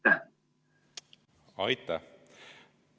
Aitäh!